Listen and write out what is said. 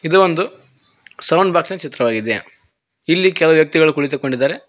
ಇದು ಒಂದು ಸೌಂಡ್ ಬಾಕ್ಸಿನ ಚಿತ್ರವಾಗಿದೆ ಇಲ್ಲಿ ಕೆಲವು ವ್ಯಕ್ತಿಗಳು ಕುಳಿತುಕೊಂಡಿದ್ದಾರೆ.